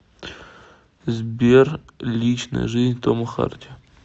сбер личная жизнь тома харди